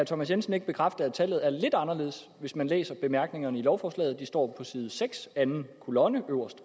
thomas jensen ikke bekræfte at tallet er lidt anderledes hvis man læser bemærkningerne til lovforslaget det står på side seks anden kolonne øverst